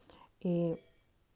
и